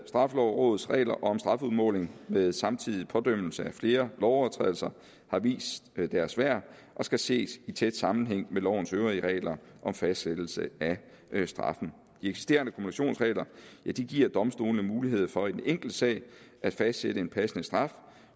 straffelovrådets regler om strafudmåling med samtidig pådømmelse af flere lovovertrædelser har vist deres værd og skal ses i tæt sammenhæng med lovens øvrige regler om fastsættelse af straffen de eksisterende kumulationsregler giver domstolene mulighed for i den enkelte sag at fastsætte en passende straf